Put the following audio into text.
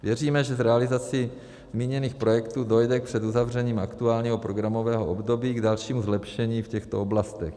Věříme, že s realizací zmíněných projektů dojde před uzavřením aktuálního programového období k dalšímu zlepšení v těchto oblastech.